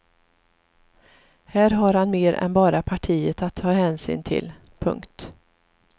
Här har han mer än bara partiet att ta hänsyn till. punkt